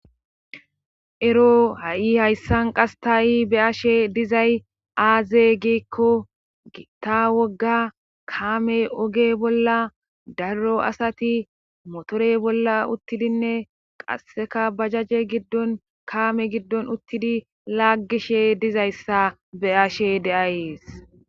Ero ha7i hayssan qasse be7ashe dizay aaze giikko gitta wogga kaame oge bolla daro asati moteore bolla uttidinne qasseka bajaaje giddon kaame giddon laaggishe dizayssa be7ashe de7asys